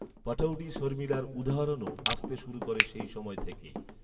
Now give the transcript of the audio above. পটৌডি শর্মিলার উদাহরণও আসতে শুরু করে সেই সময় থেকেই